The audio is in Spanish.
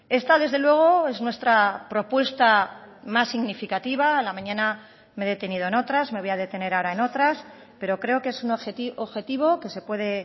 esta desde luego es nuestra propuesta más significativa a la mañana me he detenido en otras me voy a detener ahora en otras pero creo que es un objetivo que se puede